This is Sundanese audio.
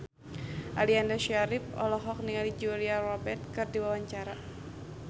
Aliando Syarif olohok ningali Julia Robert keur diwawancara